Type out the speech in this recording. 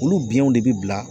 Olu biɲɛw de bi bila